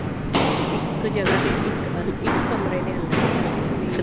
ਇੱਕ ਜਗ੍ਹਾ ਤੇ ਇੱਕ ਇੱਕ ਕਮਰੇ ਦੇ ਅੰਦਰ ਹੀ ਵੀ